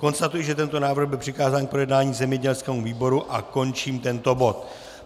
Konstatuji, že tento návrh byl přikázán k projednání zemědělskému výboru, a končím tento bod.